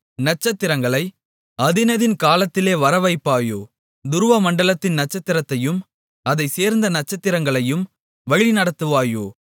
நட்சத்திரங்களை அதினதின் காலத்திலே வரவைப்பாயோ துருவமண்டலத்தின் நட்சத்திரத்தையும் அதைச் சேர்ந்த நட்சத்திரங்களையும் வழிநடத்துவாயோ